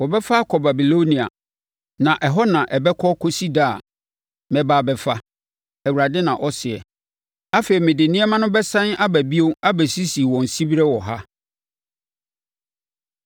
‘Wɔbɛfa akɔ Babilonia, na ɛhɔ na ɛbɛka kɔsi da a mɛba abɛfa,’ Awurade na ɔseɛ. ‘Afei mede nneɛma no bɛsane aba bio abɛsisi wɔn siberɛ wɔ ha.’ ”